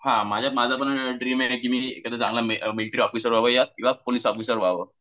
हां माझा माझा पण ड्रीम आहे की मी मिलिटरी ऑफिसर व्हावं किव्हा पोलीस ऑफिसर व्हावं.